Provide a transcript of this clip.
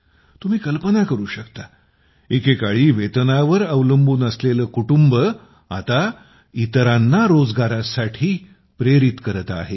तुम्ही कल्पना करू शकता एकेकाळी वेतनावर अवलंबून असलेले कुटुंब आता इतरांना रोजगारासाठी प्रेरित करत आहे